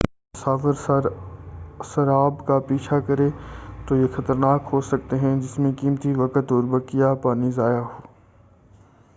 اگر مسافر سراب کا پیچھا کرے تو یہ خطرناک ہوسکتے ہیں ، جس میں قیمتی وقت اور بقیہ پانی ضائع ہو۔